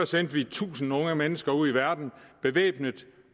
sendte vi tusinder af unge mennesker ud i verden bevæbnet